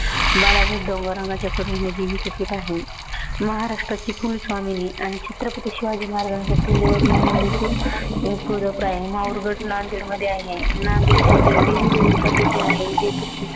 डोंगररांगाचच्या पीठ आहे. महाराष्ट्राची कुलस्वामिनी आणि छत्रपती शिवाजी महाराजांच कुलदैवत म्हणून देखील तुळजापूर आहे, माहुरगड नांदेडमध्ये आहे नांदेडची ते देवी रेणुका तिथे आहे